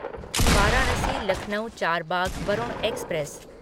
Varanasi Lucknow Charbagh Varun express